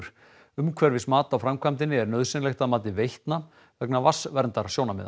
umhverfismat á framkvæmdinni er nauðsynlegt að mati Veitna vegna